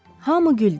Hamı güldü.